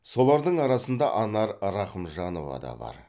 солардың арасында анар рахымжанова да бар